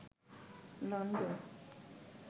London